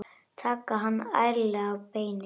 Taka hann ærlega á beinið.